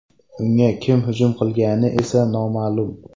Unga kim hujum qilgani esa noma’lum.